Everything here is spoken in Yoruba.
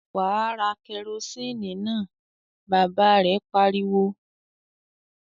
"Wà á ra kẹrósíínì náà!" Bàbá rẹ̀ pariwo.